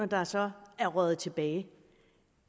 der så er røget tilbage